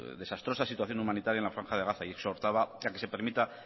desastrosa situación humanitaria en la franja de gaza y exhortaba a que se permita